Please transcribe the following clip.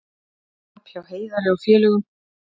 Tap hjá Heiðari og félögum